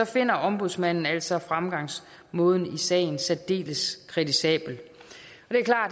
finder ombudsmanden altså fremgangsmåden i sagen særdeles kritisabel